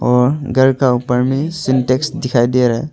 और घर का ऊपर में सिंटेक्स दिखाई दे रहा है।